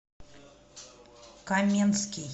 каменский